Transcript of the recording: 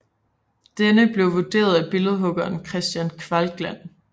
Denne blev vundet af billedhuggeren Kristian Kvakland